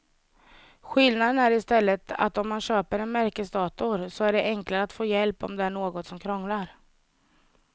Skillnaden är i stället att om man köper en märkesdator så är det enklare att få hjälp om det är något som krånglar.